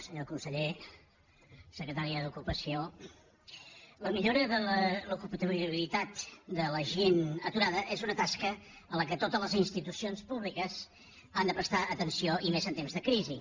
senyor conseller secretària d’ocupació la millora de l’ocupabilitat de la gent aturada és una tasca a la qual totes les institucions públiques han de prestar atenció i més en temps de crisi